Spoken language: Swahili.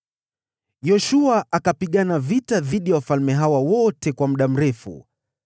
Yoshua akapigana vita dhidi ya wafalme hawa wote kwa muda mrefu.